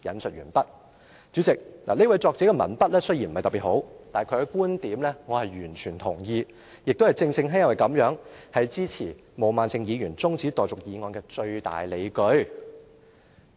"代理主席，這位作者的文筆雖然不是特別好，但其觀點我是完全同意，亦正正因為這樣，是我支持毛孟靜議員提出辯論中止待續的議案的最大理據。